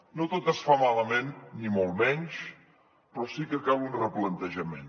no tot es fa malament ni molt menys però sí que cal un replantejament